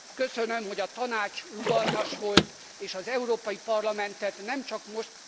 Köszönöm, hogy a Tanács rugalmas volt és az Európai Parlamentet nem csak most...